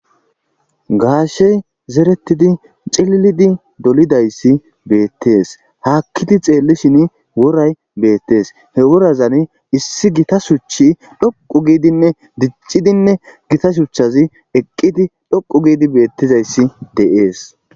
gaashey zeretidi cillidi dolidayssi bettees haakkidi xeellishin woray beettees he worazan issi gita shuchi dhoqu giidinne diccidinne gita shuchchazi eqqidi dhoqu giidi beettizayssi de7es.